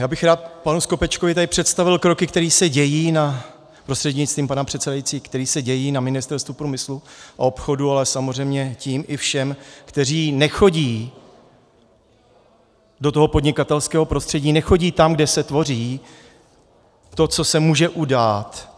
Já bych rád panu Skopečkovi tady představil kroky, které se dějí na... prostřednictvím pana předsedajícího, které se dějí na Ministerstvu průmyslu a obchodu, ale samozřejmě tím i všem, kteří nechodí do toho podnikatelského prostředí, nechodí tam, kde se tvoří to, co se může udát.